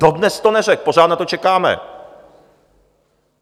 Dodnes to neřekl, pořád na to čekáme.